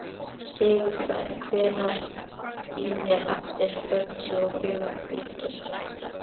Sigurberg, heyrðu í mér eftir fjörutíu og fjórar mínútur.